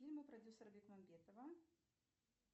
фильмы продюсера бекмамбетова